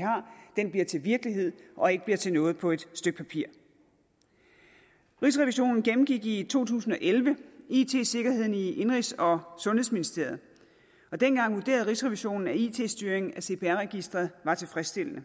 har bliver til virkelighed og ikke bliver til noget på et stykke papir rigsrevisionen gennemgik i to tusind og elleve it sikkerheden i indenrigs og sundhedsministeriet og dengang vurderede rigsrevisionen at it styringen af cpr registeret var tilfredsstillende